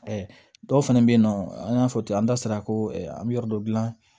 dɔw fana bɛ yen nɔ an y'a fɔ ten an da sera ko an bɛ yɔrɔ dɔ gilan